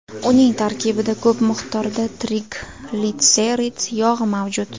Uning tarkibida ko‘p miqdorda triglitserid yog‘i mavjud.